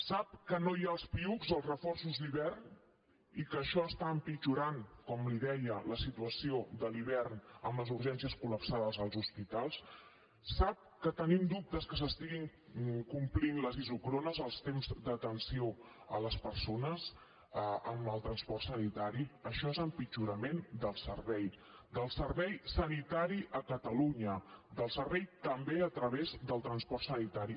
sap que no hi ha els piuc els reforços d’hivern i que això està empitjorant com li deia la situació de l’hivern en les urgències col·lapsades als hospitals sap que tenim dubtes que s’estiguin complint les isòcrones els temps d’atenció a les persones amb el transport sanitari això és empitjorament del servei del servei sanitari a catalunya del servei també a través del transport sanitari